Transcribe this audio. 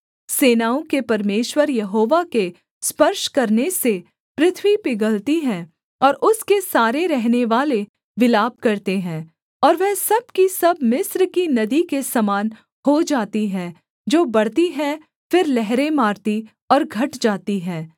सेनाओं के परमेश्वर यहोवा के स्पर्श करने से पृथ्वी पिघलती है और उसके सारे रहनेवाले विलाप करते हैं और वह सब की सब मिस्र की नदी के समान हो जाती हैं जो बढ़ती है फिर लहरें मारती और घट जाती है